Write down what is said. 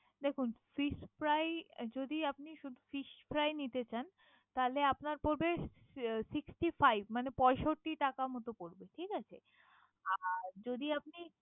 দেখুন fish fry যদি আপনি শুধূ fish fry নিতে চান। তাহলে আপনার পরবে sixty five মানে পয়ষট্টি টাকার মত পরবে।